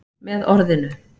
Með orðinu